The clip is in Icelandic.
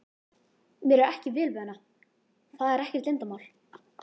Mér er ekki vel við hana, það er ekkert leyndarmál.